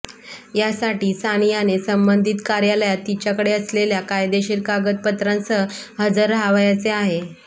यासाठी सानियाने संबंधित कार्यालयात तिच्याकडे असलेल्या कायदेशीर कागदपत्रांसह हजर रहावयाचे आहे